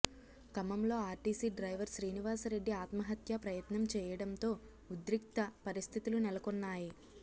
ఖమ్మంలో RTC driver Srinivasa Reddy ఆత్మహత్య ప్రయత్నం చేయడంతో ఉద్రిక్త పరిస్థితులు నెలకోన్నాయి